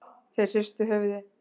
Þeir hristu höfuðið.